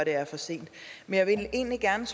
er for sent men jeg vil egentlig gerne